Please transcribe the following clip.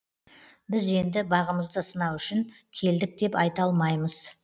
біз енді бағымызды сынау үшін келдік деп айта алмаймыз